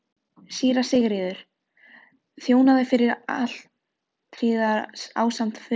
Síra Sigurður þjónaði fyrir altari ásamt föður sínum.